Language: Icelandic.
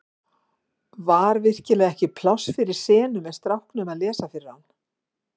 Var virkilega ekki pláss fyrir senu með stráknum að lesa fyrir hann?